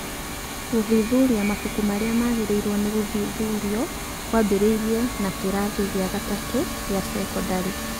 Gũthuthuria mabuku marĩa magĩrĩirwo nĩ gũthuthurio kwambĩrĩirie na kĩrathi kĩa gatatũ kia cekondarĩ .